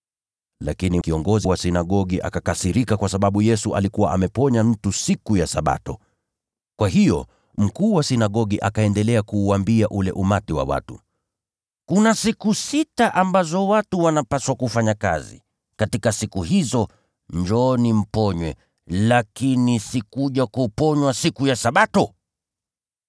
Lakini kiongozi wa sinagogi akakasirika kwa sababu Yesu alikuwa ameponya mtu siku ya Sabato. Akaambia ule umati wa watu, “Kuna siku sita ambazo watu wanapaswa kufanya kazi. Katika siku hizo, njooni mponywe, lakini si katika siku ya Sabato.”